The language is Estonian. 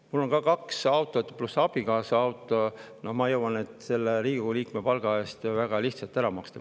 Mul on kaks autot, pluss abikaasa auto, ja ma jõuan nende Riigikogu liikme palga eest väga lihtsalt ära maksta.